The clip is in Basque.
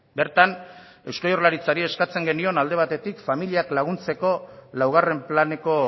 bertan eusko jaurlaritzari eskatzen genion alde batetik familiak laguntzeko laugarren planeko